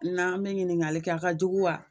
N'an me ɲiningali kɛ a ka jugu wa